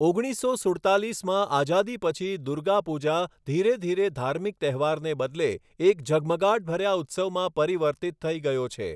ઓગણીસો સુડતાલીસમાં આઝાદી પછી દુર્ગા પૂજા ધીરે ધીરે ધાર્મિક તહેવારને બદલે એક ઝગમગાટભર્યા ઉત્સવમાં પરિવર્તિત થઈ ગયો છે.